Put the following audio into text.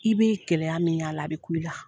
I bɛ gɛlɛya min y'a la bɛ kun i la.